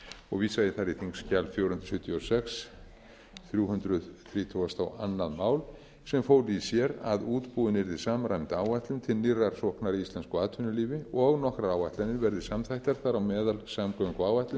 og vísa ég þar í þingskjali fjögur hundruð sjötíu og sex þrjú hundruð þrítugustu og önnur mál sem fól í sér að útbúin yrði samræmd áætlun til nýrrar sóknar í íslensku atvinnulífi og nokkrar áætlanir verði samþættar þar á meðal samgönguáætlun